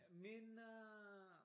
Min øh